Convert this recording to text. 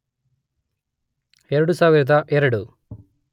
೨೦೦೨